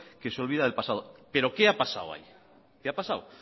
que se olvida del pasado pero qué ha pasado ahí qué ha pasado